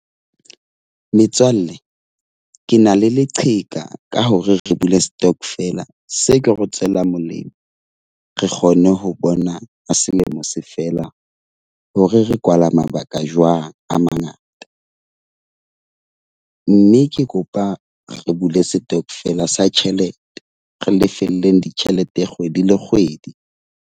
Metswalle, ke na le leqheka ka hore re bule stockvel-a se ko re tswela molemo. Re kgone ho bona ha selemo se fela, ho re re kwala mabaka jwang a mangata. Mme ke kopa re bule setokofela sa tjhelete, re lefelleng ditjhelete kgwedi le kgwedi.